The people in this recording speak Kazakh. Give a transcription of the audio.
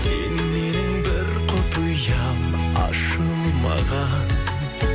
сен менің бір құпиям ашылмаған